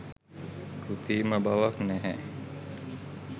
කෘත්‍රිම බවක් නැහැ.